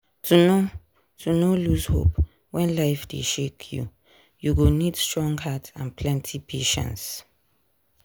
to no to no lose hope when life dey shake you you go need strong heart and plenty patience.